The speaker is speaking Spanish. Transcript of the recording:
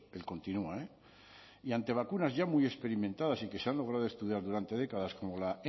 él continúa eh y ante vacunas ya muy experimentadas y que se han logrado estudiar durante décadas como la